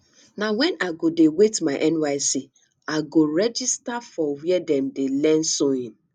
na wen i go dey wait my nysc i go register for were dem dey learn sewing